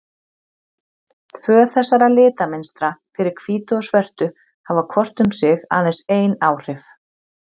Tvö þessara litamynstra, fyrir hvítu og svörtu, hafa hvort um sig aðeins ein áhrif.